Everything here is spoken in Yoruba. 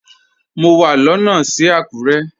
Mọ wà lóno sí Akure.